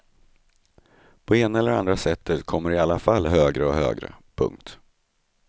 På ena eller andra sättet kom de i alla fall högre och högre. punkt